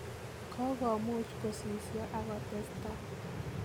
Kogomuuch kosisio angotestai.